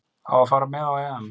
Á að fara með á EM.